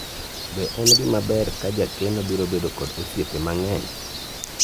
be en gima ber ka jakeno biro bedo kod osiepe mang'eny ?